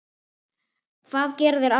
Hvað gera þeir almennt?